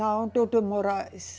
Não, doutor Moraes.